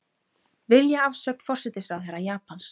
Vilja afsögn forsætisráðherra Japans